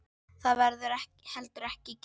Það verður heldur ekki gert.